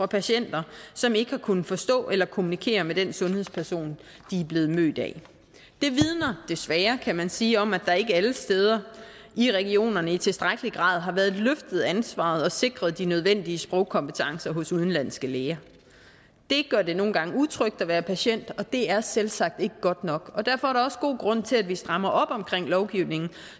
patienter som ikke har kunnet forstå eller kommunikere med den sundhedsperson de er blevet mødt af det vidner desværre kan man sige om at der ikke alle steder i regionerne i tilstrækkelig grad har været løftet ansvaret og sikret de nødvendige sprogkompetencer hos udenlandske læger det gør det nogle gange utrygt at være patient og det er selvsagt ikke godt nok og derfor er der også god grund til at vi strammer op omkring lovgivningen